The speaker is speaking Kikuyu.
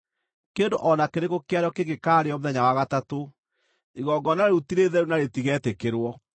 Kĩndũ o na kĩrĩkũ kĩarĩo kĩngĩkaarĩĩo mũthenya wa gatatũ, igongona rĩu ti rĩtheru na rĩtigetĩkĩrwo.